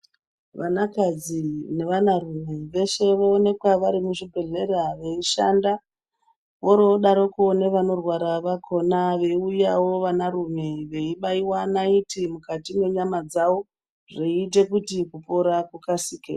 Vanakadzi nevanarume veshe voonekwa vari muzvibhedhlera veishanda vorodaroko nevanorwara vakhona veiuyawo vanarume veibaiwa naiti mukati mwenyama dzavo zveiita kuti kupora kukasike.